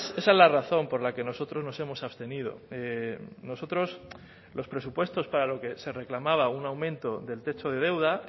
esa es la razón por la que nosotros nos hemos abstenido nosotros los presupuestos para lo que se reclamaba un aumento del techo de deuda